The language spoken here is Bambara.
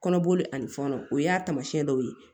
Kɔnɔboli ani fɔnɔ o y'a taamasiyɛn dɔw ye